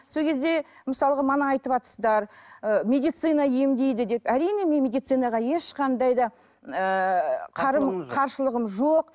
сол кезде мысалға айтыватырсыздар ы медицина емдейді деп әрине мен медицинаға ешқандай да ыыы қарым қарсылығым жоқ